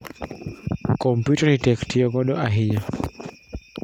Kompiuta ni tek tiyo godo ahinya